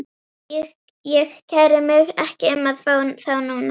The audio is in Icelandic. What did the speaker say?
Ég kæri mig ekki um að fá þá núna.